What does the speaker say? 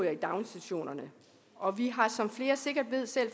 i daginstitutionerne og vi har som flere sikkert ved selv